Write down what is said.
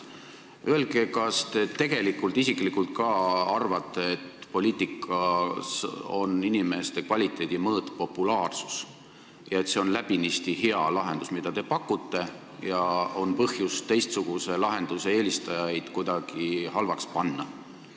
Öelge, kas te tegelikult isiklikult ka arvate, et poliitikas on inimeste kvaliteedi mõõt populaarsus ja see, mida te pakute, on läbinisti hea lahendus, nii et on põhjust teistsuguse lahenduse eelistajaid kuidagi halvaks panna.